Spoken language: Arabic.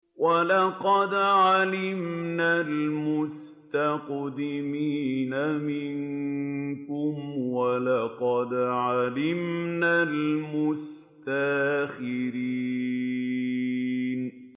وَلَقَدْ عَلِمْنَا الْمُسْتَقْدِمِينَ مِنكُمْ وَلَقَدْ عَلِمْنَا الْمُسْتَأْخِرِينَ